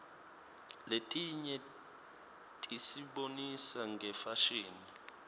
letinye tisibonisa ngefashini